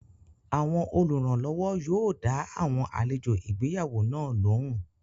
Àwọn oluranlowo yóò dá àwọn àlejò ìgbéyàwó náà lóhùn